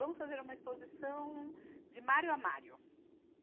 Vamos fazer uma exposição de Mário a Mário.